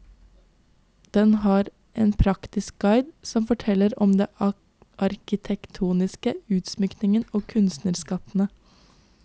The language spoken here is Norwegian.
Den er en praktisk guide som forteller om det arkitektoniske, utsmykningen og kunstskattene.